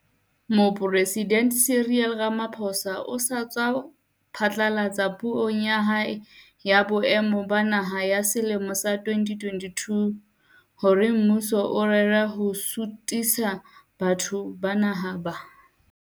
Mopresidente Cyril Ramaphosa o sa tswa phatlalatsa Puong ya hae ya Boemo ba Naha ya selemo sa 2022 SONA hore mmuso o rera ho suthisa boemo ba Naha ba.